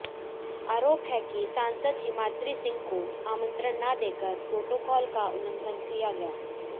आरोप है कि सांसद हिमाद्री ंिसह को आंमत्रण ना देकर प्रोटोकाल का उल्लंघन किया गया